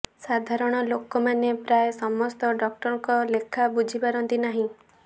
ସାଧାରଣ ଲୋକମାନେ ପ୍ରାୟ ସମସ୍ତ ଡାକ୍ତରଙ୍କ ଲେଖା ବୁଝିପାରନ୍ତି ନାହିଁ